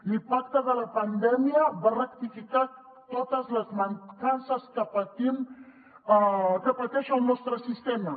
l’impacte de la pandèmia va rectificar totes les mancances que pateix el nostre sistema